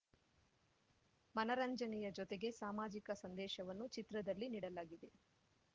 ಮನರಂಜನೆಯ ಜೊತೆಗೆ ಸಾಮಾಜಿಕ ಸಂದೇಶವನ್ನೂ ಚಿತ್ರದಲ್ಲಿ ನೀಡಲಾಗಿದೆ